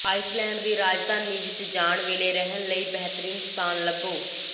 Iceland ਦੀ ਰਾਜਧਾਨੀ ਵਿਚ ਜਾਣ ਵੇਲੇ ਰਹਿਣ ਲਈ ਬਿਹਤਰੀਨ ਸਥਾਨ ਲੱਭੋ